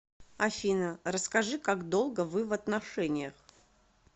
афина расскажи как долго вы в отношениях